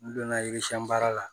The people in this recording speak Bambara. N donna baara la